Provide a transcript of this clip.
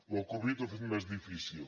la covid ho ha fet més difícil